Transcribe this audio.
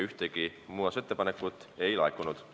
Ühtegi muudatusettepanekut ei laekunud.